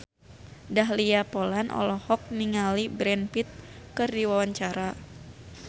Dahlia Poland olohok ningali Brad Pitt keur diwawancara